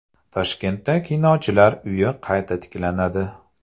Toshkentda Kinochilar uyi qayta tiklanadi.